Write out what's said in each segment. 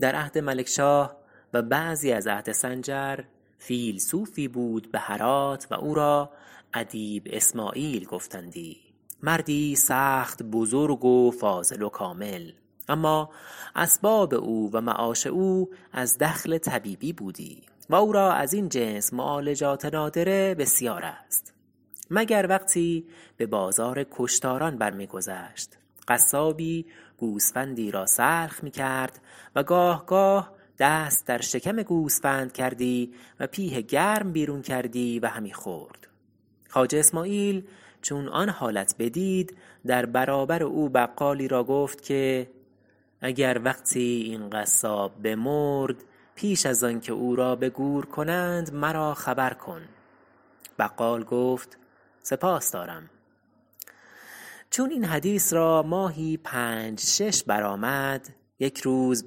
در عهد ملکشاه و بعضی از عهد سنجر فیلسوفی بود به هرات و او را ادیب اسماعیل گفتندی مردی سخت بزرگ و فاضل و کامل اما اسباب او و معاش او از دخل طبیبی بودی و او را از این جنس معالجات نادره بسیار است مگر وقتی به بازار کشتاران بر می گذشت قصابی گوسفندی را سلخ می کرد و گاه گاه دست در شکم گوسفند کردی و پیه گرم بیرون کردی و همی خورد خواجه اسماعیل چون آن حالت بدید در برابر او بقالی را گفت که اگر وقتی این قصاب بمرد پیش از آن که او را به گور کنند مرا خبر کن بقال گفت سپاس دارم چون این حدیث را ماهی پنج شش بر آمد یکی روز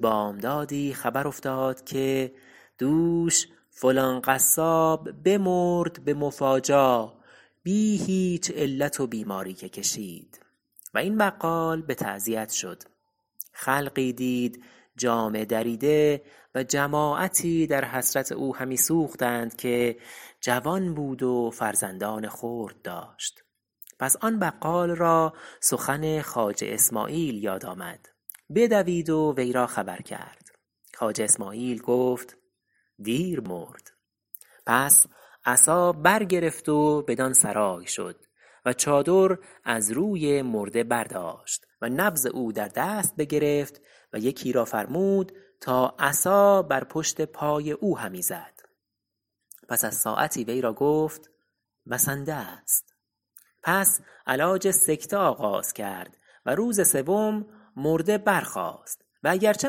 بامدادی خبر افتاد که دوش فلان قصاب بمرد به مفاجا بی هیچ علت و بیماری که کشید و این بقال به تعزیت شد خلقی دید جامه دریده و جماعتی در حسرت او همی سوختند که جوان بود و فرزندان خرد داشت پس آن بقال را سخن خواجه اسماعیل یاد آمد بدوید و وی را خبر کرد خواجه اسماعیل گفت دیر مرد پس عصا بر گرفت و بدان سرای شد و چادر از روی مرده بر داشت و نبض او در دست بگرفت و یکی را فرمود تا عصا بر پشت پای او همی زد پس از ساعتی وی را گفت بسنده است پس علاج سکته آغاز کرد و روز سوم مرده برخاست و اگر چه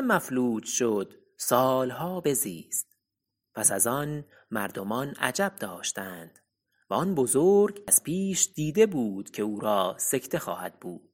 مفلوج شد سالها بزیست پس از آن مردمان عجب داشتند و آن بزرگ از پیش دیده بود که او را سکته خواهد بود